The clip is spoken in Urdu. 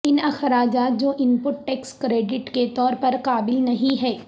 ان اخراجات جو ان پٹ ٹیکس کریڈٹ کے طور پر قابل نہیں ہیں